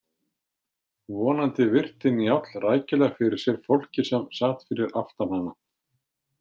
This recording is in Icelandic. Vonandi virti Njáll rækilega fyrir sér fólkið sem sat fyrir aftan hana.